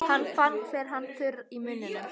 Hann fann hve hann var þurr í munninum.